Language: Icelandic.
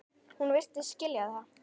Hún virtist skilja það.